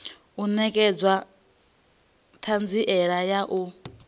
u netshedza thanziela ya u